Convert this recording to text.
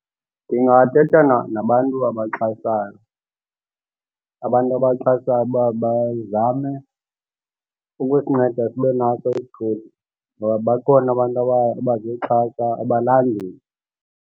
Ndingathetha nabantu abaxhasayo abantu abaxhasayo uba bazame ukusinceda sibe naso isithuthi ngoba bakhona abantu abazoxhasa abalandeli.